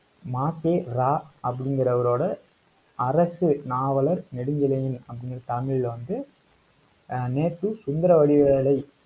மாசேரா அப்படிங்கிறவரோட, அரசு நாவலர் நெடுஞ்செழியன், அப்படிங்கிற family ல வந்து, ஆஹ் நேத்து, சுந்தரவடிவேலை